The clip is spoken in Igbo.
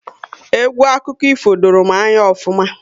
Egwu akụkọ ifo doro m anya ofuma